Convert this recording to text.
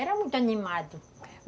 Era muito animado.